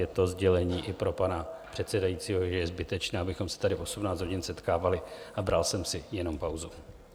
Je to sdělení i pro pana předsedajícího, že je zbytečné, abychom se tady v 18 hodin setkávali, a bral jsem si jenom pauzu.